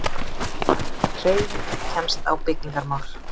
Hreyfing kemst á byggingarmál.